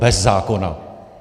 Bez zákona!